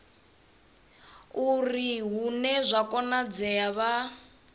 uri hune zwa konadzea vha